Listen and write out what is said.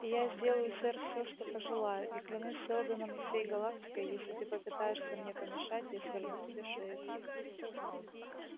и я сделаю сэр всё что пожелаю и клянусь сэлдоном и всей галактикой если ты попытаешься мне помешать я сверну тебе шею